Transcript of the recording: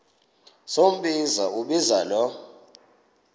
sombinza umbinza lo